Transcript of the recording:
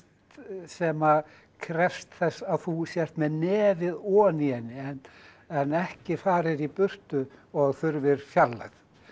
sem krefst þess að þú sért með nefið ofan í henni en ekki farir í burtu og þurfir fjarlægð